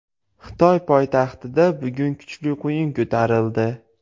Xitoy poytaxtida bugun kuchli quyun ko‘tarildi.